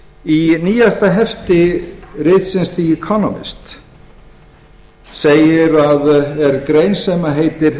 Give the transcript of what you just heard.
í nýjasta hefti ritsins the economist er greint sem heitir